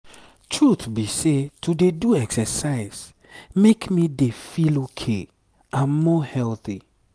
truth be say to dey do exercise make me dey feel ok and more healthy.